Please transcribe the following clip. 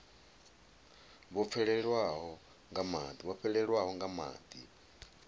vho fhelelwaho nga madi nga